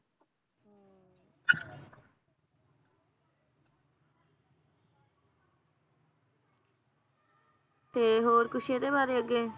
ਤੇ ਹੋਰ ਕੁਛ ਇਹਦੇ ਬਾਰੇ ਅੱਗੇ?